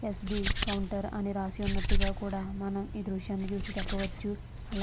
yes B counter అని రాసి ఉన్నటుగా కూడా మనం ఈ దృశ్యాన్ని చూసి చెప్పవచ్చు అలా --